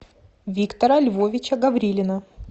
виктора львовича гаврилина